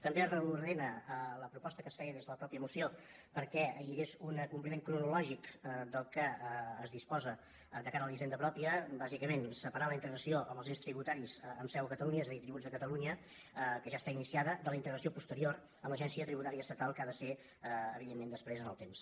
també reordena la proposta que es feia des de la mateixa moció perquè hi hagués un acompliment cronològic del que es disposa de cara a la hisenda pròpia bàsicament separar la integració dels ens tributaris amb seu a catalunya és a dir tributs de catalunya que ja està iniciada de la integració posterior amb l’agència tributària estatal que ha de ser evidentment després en el temps